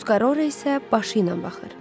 Tuskarora isə başı ilə baxır.